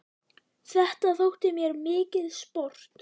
Þetta þótti mér mikið sport.